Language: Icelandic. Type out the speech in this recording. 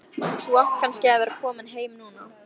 Þú átt kannski að vera kominn heim núna.